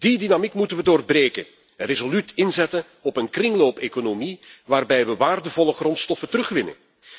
We moeten die dynamiek doorbreken en resoluut inzetten op een kringloopeconomie, waarbij we waardevolle grondstoffen terugwinnen.